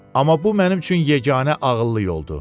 Amma bu mənim üçün yeganə ağıllı yoldur.